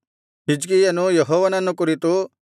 ಹಿಜ್ಕೀಯನು ಯೆಹೋವನನ್ನು ಕುರಿತು